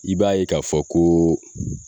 I b'a ye k'a fɔ koo